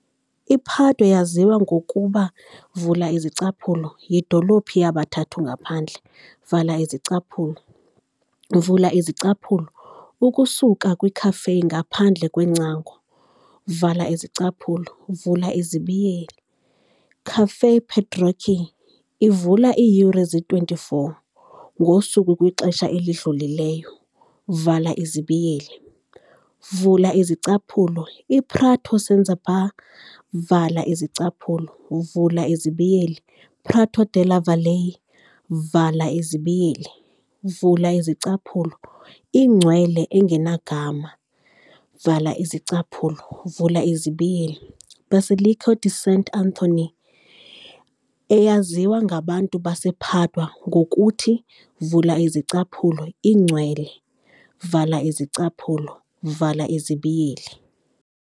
I-Padua yaziwa ngokuba yidolophu yabathathu ngaphandle, ukusuka kwiCafé ngaphandle kweengcango, Caffè Pedrocchi, ivula iiyure ze-24 ngosuku kwixesha elidlulileyo, iPrato senz'erba, Prato della Valle, iNgcwele engenagama, Basilica di Sant' Anthony, eyaziwa ngabantu basePadua ngokuthi iNgcwele.